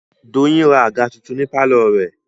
Doyin ra àga tuntun ní pálọ̀ rẹ̀